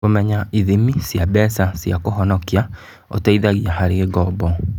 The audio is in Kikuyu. Kũmenya ithimi cia mbeca cia kũhonokia ũteithagia harĩ ngombo.